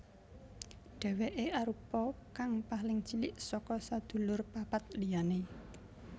Dèwèké arupa kang paling cilik saka sedulur papat liyané